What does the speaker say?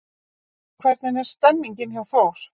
Hvernig er stemningin hjá Þór?